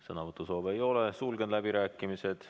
Sõnavõtusoove ei ole, sulgen läbirääkimised.